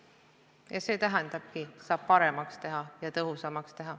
Ja see tähendabki, et töö saab paremaks ja tõhusamaks teha.